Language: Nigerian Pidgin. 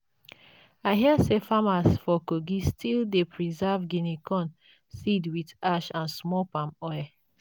i hear say farmers for kogi still dey preserve guinea corn seeds with ash and small palm oil.